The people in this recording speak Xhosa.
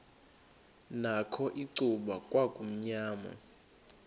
nakho icuba kwakumnyama